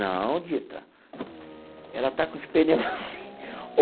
Não, Dito, ela está com os pneus assim.